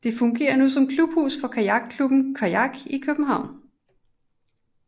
Det fungerer nu som klubhus for kajakklubben Qajaq København